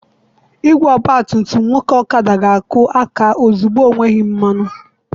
Igwe ọgba tum tum nwoke Okada ga-akụ aka ozugbo enweghị mmanụ.